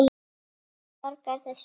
Hver borgar þessum náunga?